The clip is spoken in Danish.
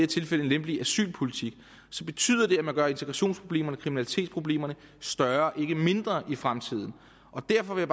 tilfælde en lempelig asylpolitik så betyder det at man gør integrationsproblemerne og kriminalitetsproblemerne større ikke mindre i fremtiden og derfor vil